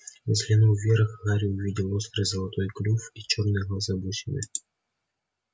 взглянув вверх гарри увидел острый золотой клюв и чёрные глаза-бусины